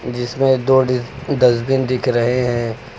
जिसमें दो डस्टबिन दिख रहे हैं।